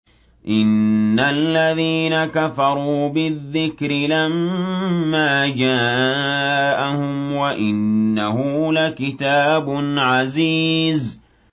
إِنَّ الَّذِينَ كَفَرُوا بِالذِّكْرِ لَمَّا جَاءَهُمْ ۖ وَإِنَّهُ لَكِتَابٌ عَزِيزٌ